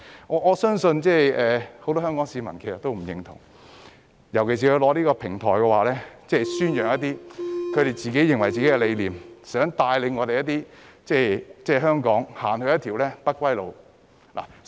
我相信很多香港市民對此都不認同，尤其是他們利用這個平台宣揚自己的理念，想帶領香港踏上一條不歸路。